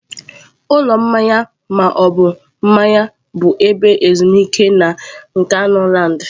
Ụlọ mmanya ma ọ bụ mmanya bụ ebe ezumike na Nkanuland.